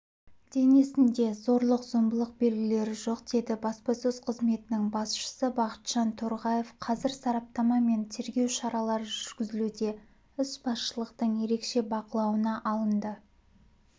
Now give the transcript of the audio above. денесінде зорлық-зомбылық белгілері жоқ деді баспасөз қызметінің басшысы бақытжан торғаев қазір сараптама мен тергеу шаралары жүргізілуде іс басшылықтың ерекше бақылауына алынды